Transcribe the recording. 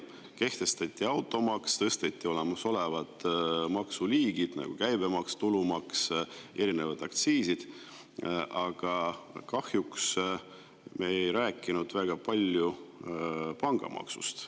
Kehtestati automaks, tõsteti olemasolevaid makse, nagu käibemaks, tulumaks, erinevad aktsiisid, aga kahjuks me ei rääkinud väga palju pangamaksust.